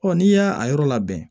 n'i y'a a yɔrɔ labɛn